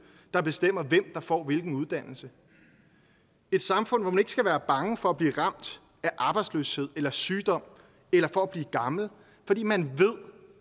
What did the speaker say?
der bestemmer hvem der får hvilken uddannelse et samfund hvor man ikke skal være bange for at blive ramt af arbejdsløshed eller sygdom eller for at blive gammel fordi man ved